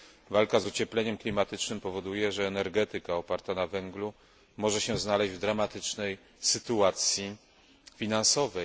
Walka z ociepleniem klimatu powoduje, że energetyka oparta na węglu może się znaleźć w dramatycznej sytuacji finansowej.